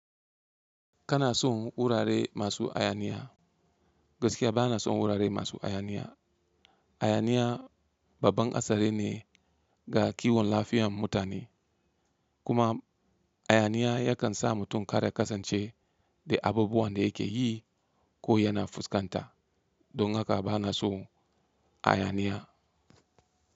Kana son wurare masu hayaniya? Gaskiya bana son wurare masu hayaniya. Hayaniya babban hatsari ne ga kiwon lafiyar mutane, kuma hayaniya yakan sa mutum kada kasance da abubuwan da yake yi ko yana fuskanta. Don haka bana so hayaniya.